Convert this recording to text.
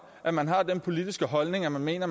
at man har den politiske holdning at man mener